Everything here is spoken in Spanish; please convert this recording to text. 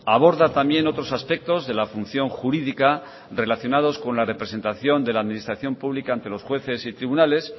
aborda también otros aspectos de la función jurídica relacionados con la representación de la administración pública ante los jueces y tribunales